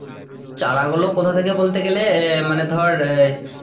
চারা গুলো কথা থেকে বলতে গেলে এ মানে ধর এই,